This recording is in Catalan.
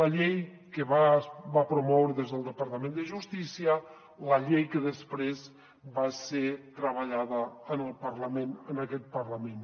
la llei que es va promoure des del departament de justícia la llei que després va ser treballada en el parlament en aquest parlament